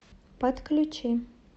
подключи